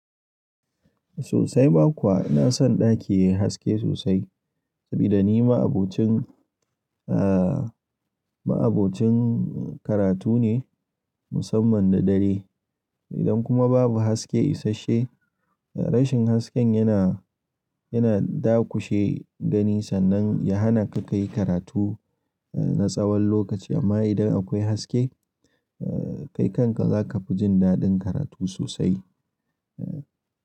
Sosai ma kuwa ina son ɗaki yayi haske sosai saboda ni ma'abocin, eh ma'abocin karatu ne musamman da dare. Idan kuma babu haske isasshe rashin hasken yana, yana dakushe gani sannan ya hana ka ka yi karatu eh na tsawon lokaci amma idan akwai haske eh kai kanka zaka fi jin daɗin karatu sosai. Eh.